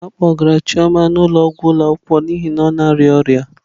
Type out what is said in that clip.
A kpọgara Chioma n'ụlọọgwụ ụlọ akwụkwọ n'ihi na ọ na-arịa ọrịa.